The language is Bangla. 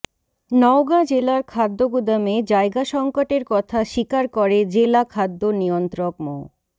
নওগাঁ জেলার খাদ্য গুদামে জায়গা সংকটের কথা স্বীকার করে জেলা খাদ্য নিয়ন্ত্রক মো